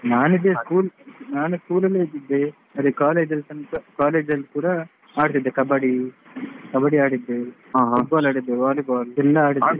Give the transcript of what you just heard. ಹಾ ನನ್ ಇದ್ದೆ school ನನ್ school ಅಲ್ಲಿ ಇದ್ದಿದ್ದೇ ಅದೇ college ಅಲ್ಲಿ ತನಕ college ಅಲ್ಲಿ ಕೂಡ. ಆಡ್ತಿದ್ದೆ Kabaddi ಆಡಿದ್ದೇ Football ಆಡಿದ್ದೇ volleyball ಎಲ್ಲಾ ಆಡಿದ್ದೇ.